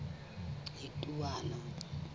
letowana